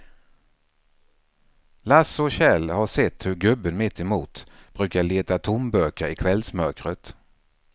Lasse och Kjell har sett hur gubben mittemot brukar leta tomburkar i kvällsmörkret.